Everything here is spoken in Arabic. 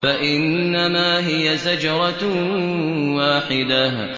فَإِنَّمَا هِيَ زَجْرَةٌ وَاحِدَةٌ